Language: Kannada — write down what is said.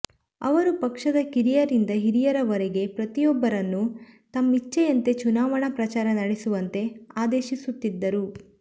ಅವರು ಪಕ್ಷದ ಕಿರಿಯರಿಂದ ಹಿರಿಯರವರೆಗೆ ಪ್ರತಿಯೊಬ್ಬರನ್ನೂ ತಮ್ಮಿಚ್ಛೆಯಂತೆ ಚುನಾವಣಾ ಪ್ರಚಾರ ನಡೆಸುವಂತೆ ಆದೇಶಿಸುತ್ತಿದ್ದರು